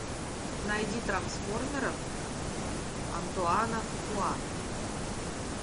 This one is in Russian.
найди трансформеров антуана фукуа